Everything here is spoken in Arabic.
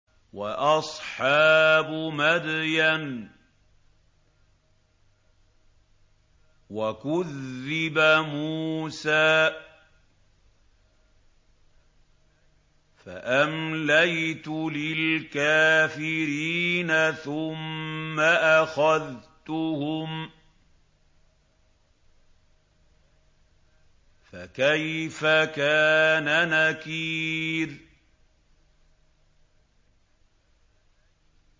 وَأَصْحَابُ مَدْيَنَ ۖ وَكُذِّبَ مُوسَىٰ فَأَمْلَيْتُ لِلْكَافِرِينَ ثُمَّ أَخَذْتُهُمْ ۖ فَكَيْفَ كَانَ نَكِيرِ